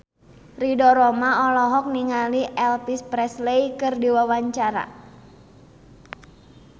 Ridho Roma olohok ningali Elvis Presley keur diwawancara